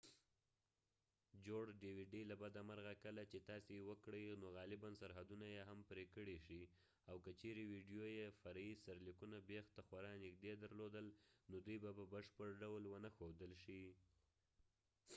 له بده مرغه کله چې تاسي یوه dvd جوړ کړئ نو غالباً سرحدونه یې هم پرې کړئ شي او که چیرې ویډیو یې فرعي سرلیکونه بېخ ته خورا نږدې درلودل نو دوی به په بشپړ ډول ونه ښودل شي